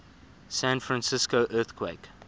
san francisco earthquake